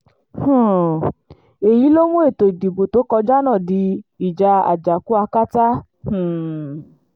um èyí ló mú ètò ìdìbò tó kọjá náà di ìjà àjàkú akátá um